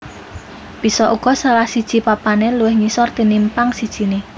Bisa uga salah siji papané luwih ngisor tinimpang sijiné